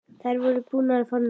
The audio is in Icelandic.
Þær voru búnar að fá nóg.